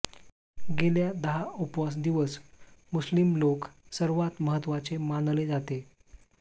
गेल्या दहा उपवास दिवस मुस्लिम लोक सर्वात महत्वाचे मानले जाते